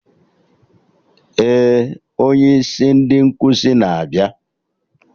Ee, onye isi ndị nkụzi na-abịa